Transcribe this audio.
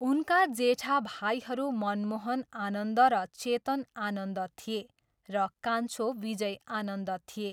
उनका जेठा भाइहरू मनमोहन आनन्द र चेतन आनन्द थिए र कान्छो विजय आनन्द थिए।